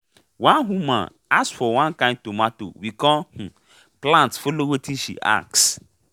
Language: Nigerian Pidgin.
um one market woman ask for one kain of tomato we come um plant follow watin she ask for